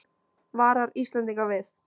Varar Íslendinga við